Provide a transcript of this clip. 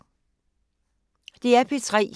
DR P3